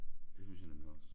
Det synes jeg nemlig også